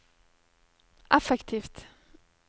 effektivt